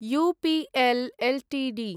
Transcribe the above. UPL Ltd